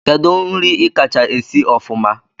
Kedu nri ikacha esi ofụma?